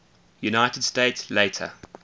united states later